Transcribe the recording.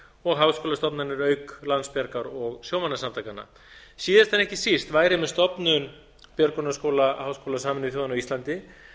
og háskólastofnanir auk landsbjargar og sjómannasamtakanna síðast en ekki síst væri með stofnun björgunarskóla háskóla sameinuðu þjóðanna á íslandi